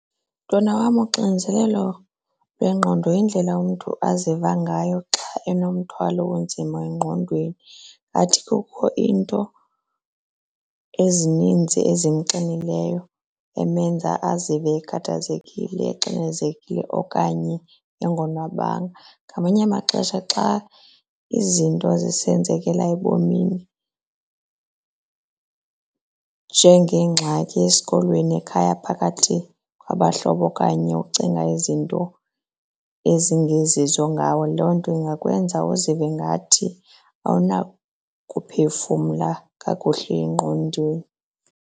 Mntwana wam, uxinezelelo lwengqondo yindlela umntu aziva ngayo xa enomthwalo onzima engqondweni ngathi kukho iinto ezininzi ezimxinileyo emenza azive ekhathazekile exinezelekile okanye engonwabanga. Ngamanye amaxesha xa izinto zisenzekela ebomini njengeengxaki esikolweni, ekhaya phakathi abahlobo okanye ukucinga izinto ezingezizo ngawe loo nto ingakwenza uzive ingathi awunakuphefumla kakuhle engqondweni.